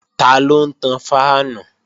Taló ń tan fáànù?